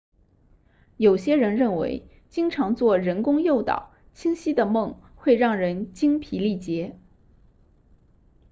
有些人认为经常做人工诱导清晰的梦会让人精疲力竭